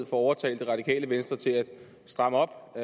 få overtalt det radikale venstre til at stramme op